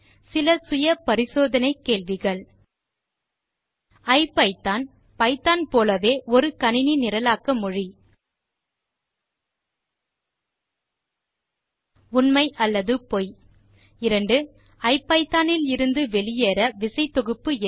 சில சுய பரிசோதனை கேள்விகள் ஐபிதான் பைத்தோன் போலவே ஒரு கணினி நிரலாக்க மொழி உண்மை அல்லது பொய் இரண்டாவது ஐபிதான் இலிருந்து வெளியேற விசை தொகுப்பு எது